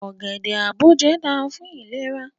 Ogede-aboje da fun ilera